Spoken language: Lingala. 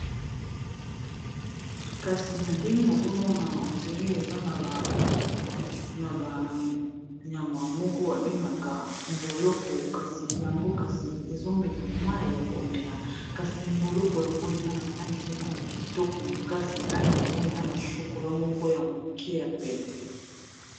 kasi na ndenge nazomona endire eza na banyama moko babengaka mboloko kasi yango kasi ezomela mai ya komela kasi mboloko yango eza na langi moko ya kitoko makasi langi yango eza na shokola moko ya moke ya pete